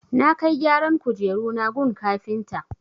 Na kai gyaran kujeruna gun kafinta.